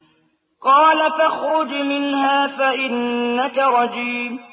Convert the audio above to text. قَالَ فَاخْرُجْ مِنْهَا فَإِنَّكَ رَجِيمٌ